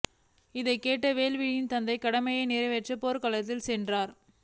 அதைக் கேட்ட வேல்விழியின் தந்தை கடமையை நிறைவேற்ற போர்க்களம் சென்றார்